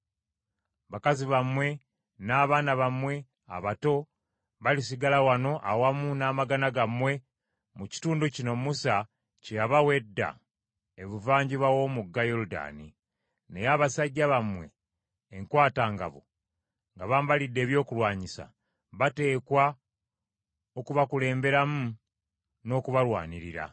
Bakazi bammwe, n’abaana bammwe abato balisigala wano awamu n’amagana gammwe mu kitundu kino Musa kye yabawa edda ebuvanjuba w’omugga Yoludaani. Naye abasajja bammwe enkwatangabo nga bambalidde ebyokulwanyisa, bateekwa okubakulemberamu n’okubalwanirira,